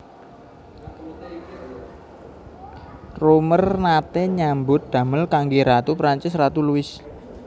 Roemer naté nyambut damel kanggé Ratu Prancis Ratu Louis